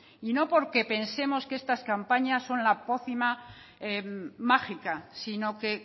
y no porque pensemos que son la pócima mágica sino que